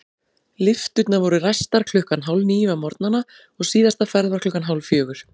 Lyfturnar voru ræstar klukkan hálfníu á morgnana og síðasta ferð var klukkan hálffjögur.